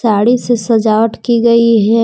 साड़ी से सजावट की गई है।